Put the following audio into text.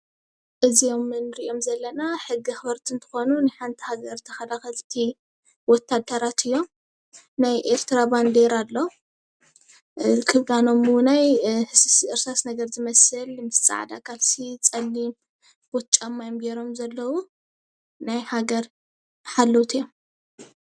እዚኦም ንርኦም ዘለና ሕጊ ኣክበርቲ እንትኮኑ ናይ ሓንቲ ሃገር ተካላክልቲ ወታደራት እዮም ናይ ኤርትራ ባንዴራ ኣሎ ክዳኖም እውነይ እርሳስ ነገር ዝመስል ምስ ፃዕዳ ካልሲ ፀሊም ቡት ጫማ እዮም ገይሮም ዘለው ናይ ሃገር ሓለውቲ እዮም።